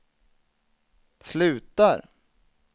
slutar